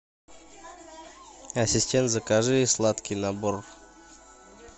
ассистент закажи сладкий набор